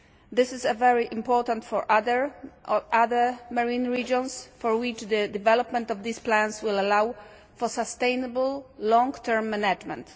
This is very important for other marine regions for which the development of these plans will allow for sustainable long term management.